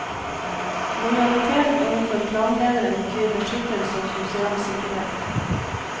Lojalitet overfor klanlederen betyr beskyttelse og sosial sikkerhet.